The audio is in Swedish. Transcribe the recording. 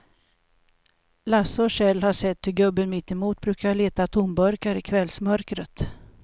Lasse och Kjell har sett hur gubben mittemot brukar leta tomburkar i kvällsmörkret.